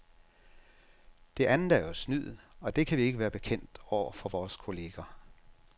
Det andet er jo snyd, og det kan vi ikke være bekendt over for vores kolleger.